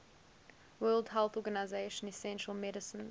world health organization essential medicines